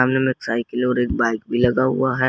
सामने मे एक साइकिल और एक बाइक भी लगा हुआ है।